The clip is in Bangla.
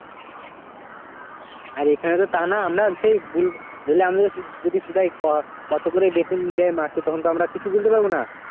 আর এখানে তো তা না আমরা সেই বুল ধরেলে আমিও যদি সুধাই ক~ কত করে বেতন দেয় মাসে তখন তো আমরা কিছু বলতে পারবো না